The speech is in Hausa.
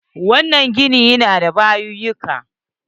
Wannan gini ya na da bayuyyuka.